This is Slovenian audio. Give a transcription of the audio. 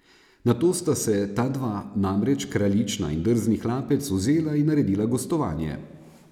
Nato sta se ta dva, namreč kraljična in drzni hlapec, vzela in naredila gostovanje.